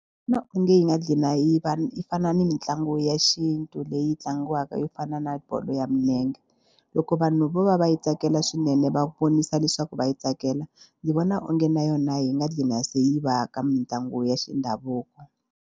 onge yi nga gcina yi va yi fana ni mitlangu ya xintu leyi tlangiwaka yo fana na bolo ya milenge. Loko vanhu vo va va yi tsakela swinene va vonisa leswaku va yi tsakela ni vona onge na yona yi nga gcina se yi va ka mitlangu ya xindhavuko.